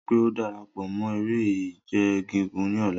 Rii daju pe o darapọ mọ ere-ije gigun ni ọla!